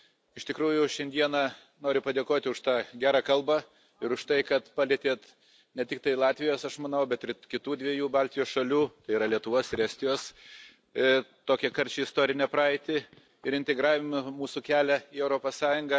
Iš tikrųjų šiandieną noriu padėkoti už tą gerą kalbą ir už tai, kad palietėte ne tik Latvijos, aš manau, bet ir kitų dviejų Baltijos šalių, tai yra, Lietuvos ir Estijos, tokią karčią istorinę praeitį ir integravimą, mūsų kelią į Europos Sąjungą.